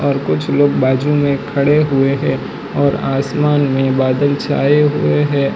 और कुछ लोग बाजू में खड़े हुए हैं और आसमान में बादल छाए हुए हैं।